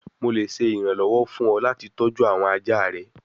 Mo le ṣe iranlọwọ fun ọ lati tọju awọn aja rẹ